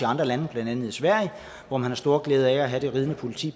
andre lande og blandt andet i sverige har man stor glæde af at have det ridende politi